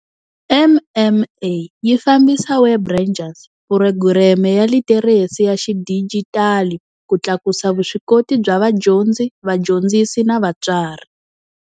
MMA yi fambisa Web Rangers, phurogireme ya litheresi ya xidijitali ku tlakusa vuswikoti bya vadyondzi, vadyondzisi na vatswari.